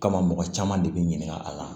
Kama mɔgɔ caman de bi ɲininka a la